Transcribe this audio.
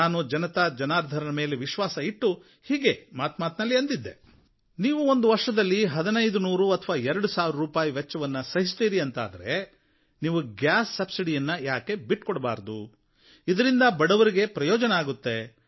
ನಾನು ಜನತಾ ಜನಾರ್ದನರ ಮೇಲೆ ವಿಶ್ವಾಸವಿಟ್ಟು ಹೀಗೇ ಒಮ್ಮೆ ಮಾತುಮಾತಿನಲ್ಲಿ ಅಂದಿದ್ದೆ ನೀವು ಒಂದು ವರ್ಷದಲ್ಲಿ ಹದಿನೈದು ನೂರು ಅಥವಾ ಎರಡು ಸಾವಿರ ರೂಪಾಯಿ ವೆಚ್ಚವನ್ನು ಸಹಿಸ್ತೀರೀ ಅಂತಾದರೆ ನೀವು ಗ್ಯಾಸ್ ಸಬ್ಸಿಡಿಯನ್ನು ಏಕೆ ಬಿಟ್ಟುಕೊಡಬಾರದು ಇದರಿಂದ ಬಡವರಿಗೆ ಪ್ರಯೋಜನ ಆಗುತ್ತೆ